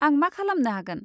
आं मा खालामनो हागोन?